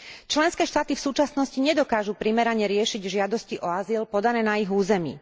Členské štáty v súčasnosti nedokážu primerane riešiť žiadosti o azyl podané na ich území.